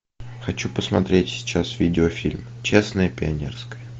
хочу посмотреть сейчас видеофильм честное пионерское